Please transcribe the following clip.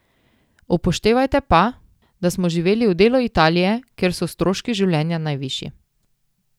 Upoštevajte pa, da smo živeli v delu Italije, kjer so stroški življenja najvišji.